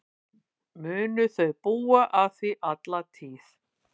Munu þau búa að því alla tíð.